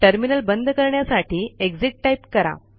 terminal बंद करण्यासाठी exit type करा